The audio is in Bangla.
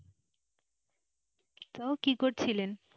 তো কি করছিলেন?